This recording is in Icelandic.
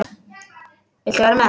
Viltu vera með?